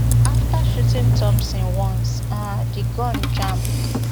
after shooting thompson once um di gun jam